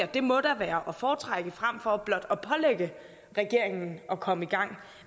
det må da være at foretrække frem for blot at pålægge regeringen at komme i gang